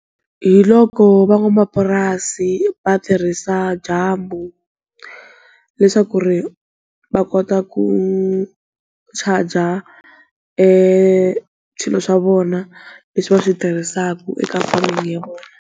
Hi loko van'wamapurasi va tirhisa dyambu leswaku ri va kota ku charger swilo swa vona leswi va switirhisaka eka farming ya vona.